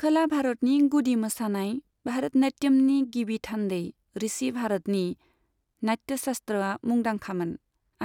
खोला भारतनि गुदि मोसानाय, भारत नाट्यमनि गिबि थान्दै, ऋषि भरतनि नाट्यशास्त्रआ मुंदांखामोन